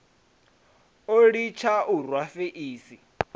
o litsha u rwa feisi